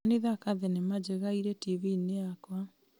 kĩmani thaaka thenema njega ĩrĩ TV-inĩ yakwa